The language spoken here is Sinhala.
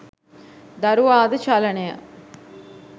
දරුවා ද චලනය,